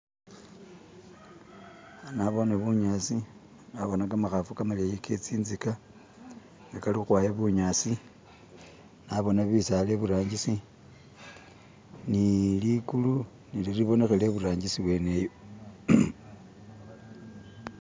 Naboone bunyasi, nabona gamakafu galeeyi ge zinziga, nga galikwaya bunyasi, nabona bisala ibutangisi ni ligulu libonekera ibutangisi weneyo.